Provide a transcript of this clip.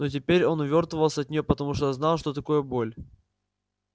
но теперь он увёртывался от неё потому что знал что такое боль